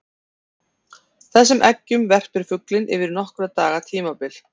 Þessum eggjum verpir fuglinn yfir nokkurra daga tímabil.